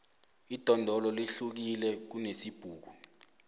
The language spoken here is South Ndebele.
idondolo lihlukile kunesibhuku